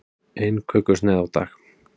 Ein kökusneið á dag